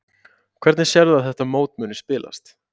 Hvernig sérðu að þetta mót muni spilast?